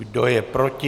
Kdo je proti?